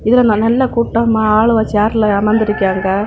இதுல நல்ல கூட்டமா அலுவ சேர்ல அமந்திருக்காங்க.